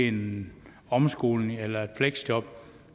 en omskoling eller et fleksjob